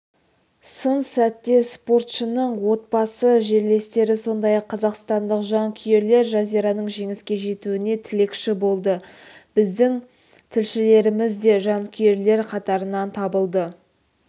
сын сәтте спортшының отбасы жерлестері сондай-ақ қазақстандық жанкүйерлер жазираның жеңіске жетуіне тілекші болды біздің тілшілеріміз де жанкүйерлер қатарынан табылды